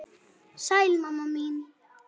Sæl mamma mín.